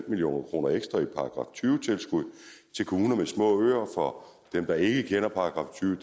million kroner ekstra i § tyve tilskud til kommuner med små øer for dem der ikke kender § tyve